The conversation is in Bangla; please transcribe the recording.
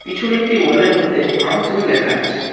পিছনে একটি ওয়ালের মধ্যে হাম তুম লেখা আছে।